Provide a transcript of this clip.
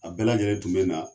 A bɛɛ lajɛlen tun bɛ na.